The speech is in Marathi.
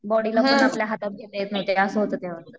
बॉडीला पण आपल्या हातात घेता येत नव्हते असं होतं त्यात.